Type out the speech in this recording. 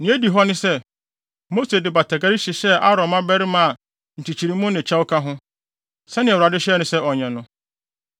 Nea edi hɔ ne sɛ, Mose de batakari hyehyɛɛ Aaron mmabarima a nkyekyeremu ne kyɛw ka ho, sɛnea Awurade hyɛɛ no sɛ ɔnyɛ no.